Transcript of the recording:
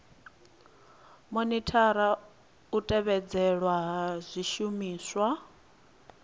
monithara u tevhedzelwa ha zwishumiswa